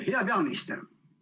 Hea peaminister!